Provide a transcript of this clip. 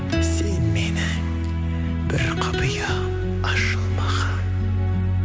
сен менің бір құпиям ашылмаған